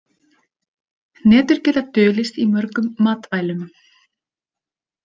Hnetur geta dulist í mörgum matvælum.